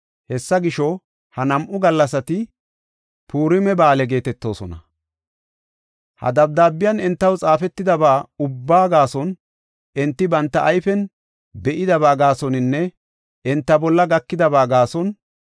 Hessa gisho, ha nam7u gallasati Purima Ba7aale geetetoosona. Ha dabdaabiyan entaw xaafetidaba ubbaa gaason, enti banta ayfen be7idaba gaasoninne enta bolla gakidaba gaason